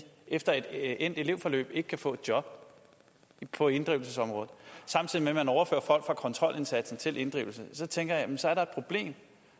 efter et endt elevforløb ikke kan få et job på inddrivelsesområdet samtidig med at man overfører folk fra kontrolindsatsen til inddrivelse så tænker jeg så er der et problem